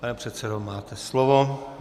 Pane předsedo, máte slovo.